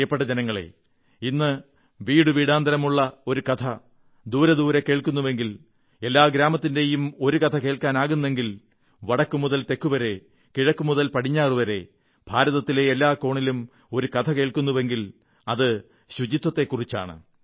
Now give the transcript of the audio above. പ്രിയപ്പെട്ട ജനങ്ങളേ ഇന്ന് വീടുവീടാന്തരമുള്ള ഒരു കഥ ദൂരെ ദൂരെ കേൾക്കുന്നുവെങ്കിൽ എല്ലാ ഗ്രാമത്തിന്റെയും ഒരു കഥ കേൾക്കാനാകുന്നെങ്കിൽ വടക്കുമുതൽ തെക്കുവരെ കിഴക്കുമുതൽ പടിഞ്ഞാറുവരെ ഭാരതത്തിലെ എല്ലാ കോണിലും ഒരു കഥ കേൾക്കുന്നുവെങ്കിൽ അത് ശുചിത്വത്തെക്കുറിച്ചാണ്